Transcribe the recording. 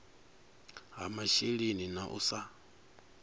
ha masheleni na u sa